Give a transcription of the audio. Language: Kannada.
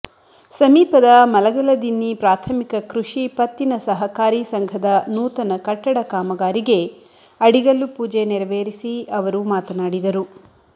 ಸಮೀಪದ ಮಲಗಲದಿನ್ನಿ ಪ್ರಾಥಮಿಕ ಕೃಷಿ ಪತ್ತಿನ ಸಹಕಾರಿ ಸಂಘದ ನೂತನ ಕಟ್ಟಡ ಕಾಮಗಾರಿಗೆ ಅಡಿಗಲ್ಲು ಪೂಜೆ ನೆರವೇರಿಸಿ ಅವರು ಮಾತನಾಡಿದರು